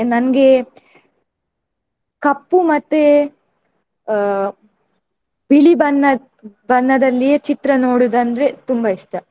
ನನ್ಗೆ ಕಪ್ಪು ಮತ್ತೆ ಅಹ್ ಬಿಳಿ ಬಣ್ಣ ಬಣ್ಣದಲ್ಲಿಯೇ ಚಿತ್ರ ನೋಡುವುದು ಅಂದ್ರೆ ತುಂಬಾ ಇಷ್ಟ.